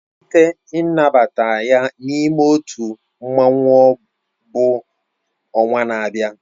Mmalite nnabata ya n'ime otu mmanwu bụ ọnwa na-abịa